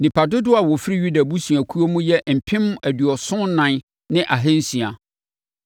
Nnipa dodoɔ a wɔfiri Yuda abusuakuo mu yɛ mpem aduɔson ɛnan ne ahansia (74,600).